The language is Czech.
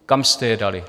Kam jste je dali?